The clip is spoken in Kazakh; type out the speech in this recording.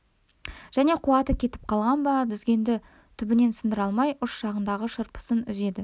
және қуаты кетіп қалған ба дүзгенді түбінен сындыра алмай ұш жағындағы шырпысын үзеді